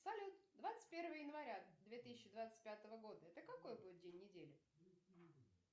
салют двадцать первое января две тысячи двадцать пятого года это какой будет день недели